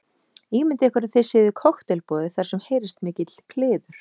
Ímyndið ykkur að þið séuð í kokteilboði þar sem heyrist mikill kliður.